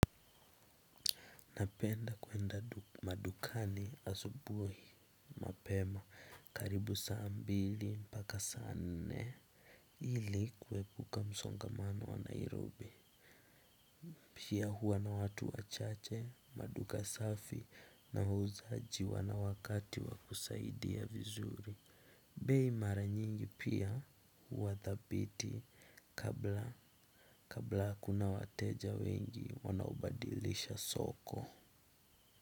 Napenda kuenda madukani asubuhi mapema karibu saa mbili mpaka saa nne ili kuepuka msongamano wa Nairobi. Pia hua na watu wachache maduka safi na wauzaji wana wakati wakusaidia vizuri. Bei mara nyingi pia wadhabiti kabla kabla kuna wateja wengi wanaobadilisha soko.